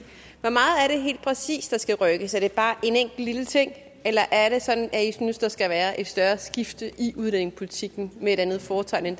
helt præcist der skal rykkes er det bare en enkelt lille ting eller er det sådan at i synes der skal være et større skifte i udlændingepolitikken med et andet fortegn end